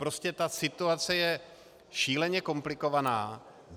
Prostě ta situace je šíleně komplikovaná.